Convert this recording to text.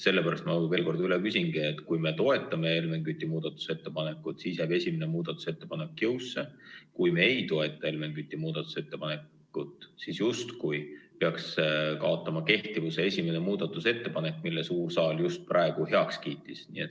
Sellepärast ma veel kord üle küsingi: kui me toetame Helmen Küti muudatusettepanekut, siis jääb esimene muudatusettepanek jõusse, kui me ei toeta Helmen Küti muudatusettepanekut, siis justkui peaks kaotama kehtivuse esimene muudatusettepanek, mille suur saal just praegu heaks kiitis?